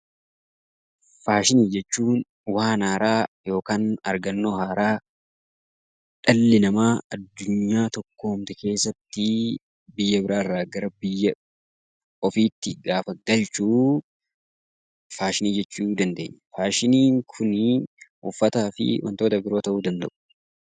Faashinii jechuun waan haaraa yookaan argannoo haaraa dhalli namaa addunyaa tokkoomte keessatti biyya biraa irraa gara biyya ofiitti gaafa galchu 'Faashinii' jechuu dandeenya. Faashiniin kuni uffataa fi wantoota biroo ta'uu danda'u.